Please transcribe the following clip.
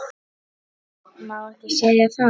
Má ekki segja það?